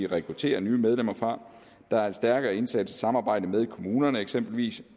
rekrutterer nye medlemmer der er en stærkere indsats i samarbejde med kommunerne eksempelvis